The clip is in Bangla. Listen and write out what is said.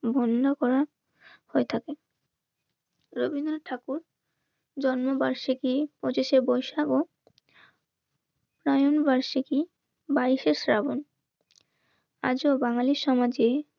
ধন্য করা হয়ে থাকে. রবীন্দ্রনাথ ঠাকুর জন্মবার্ষিকী পঁচিশে বৈশাখও তাই আমি বার্ষিকী বাইশে শ্রাবণ. আজও বাঙালির